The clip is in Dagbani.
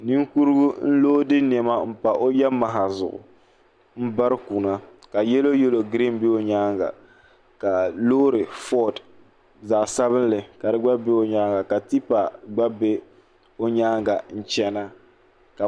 Ninkurugu n loodi nɛima mpa O yamaha ƶugu mbarkuna ka yɛloyɛlo green bɛ O nyaaga ka lorry ford ƶagsabili ka tipa dɛ gba bɛ O nyaaga n chana.